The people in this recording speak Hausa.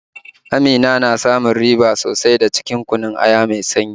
Amina na samun riba sosai da cinikin kunun aya mai sanyi